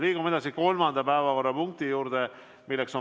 Liigume kolmanda päevakorrapunkti juurde.